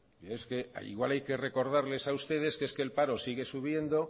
es que igual hay que recordarles a ustedes que es que el paro sigue subiendo